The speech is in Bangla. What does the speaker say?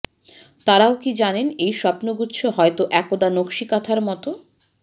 তারাও কি জানে এই স্বপ্নগুচ্ছ হয়তো একদা নকশীকাঁথার মতো